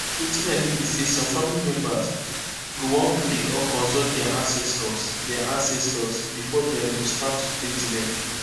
wetin i mean be say some family members go wan pray or consult dia ancestors dia ancestors before dem go start to treat dem